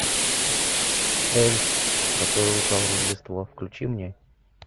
эльф который украл рождество включи мне